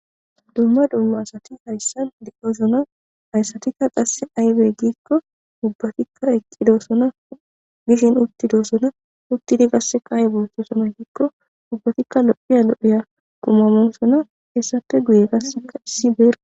Dumma dumma asati hayssan diqosona hayssatikka qasse aybe giikko ubbatikka eqqidoosona gishin uttidoosona uttidi gasse kaaye boottosomanikko ubbatikka lo'iya lo'iya qumamo sona hessafe guye gassea issi beera.